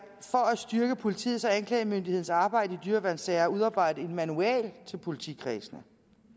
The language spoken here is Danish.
at styrke politiets og anklagemyndighedens arbejde i dyreværnssager er udarbejdet en manual til politikredsene